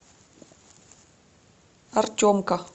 артемка